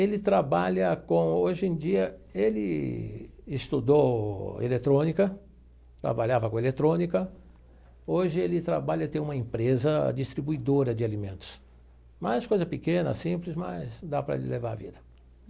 Ele trabalha com, hoje em dia, ele estudou eletrônica, trabalhava com eletrônica, hoje ele trabalha, tem uma empresa distribuidora de alimentos, mas coisa pequena, simples, mas dá para ele levar a vida.